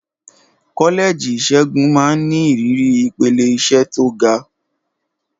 Kọ́lẹ́ẹ̀jì ìṣègùn máa ń ní ìrírí ìpele iṣẹ́ tó ga.